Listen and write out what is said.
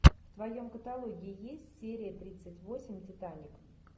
в твоем каталоге есть серия тридцать восемь титаник